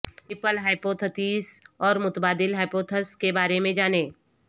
nipple hypothesis اور متبادل hypothesis کے بارے میں جانیں